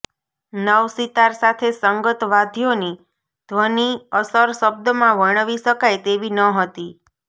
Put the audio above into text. નવસિતાર સાથે સંગત વાદ્યોની ધ્વનિ અસર શબ્દમાં વર્ણવી શકાય તેવી ન હતી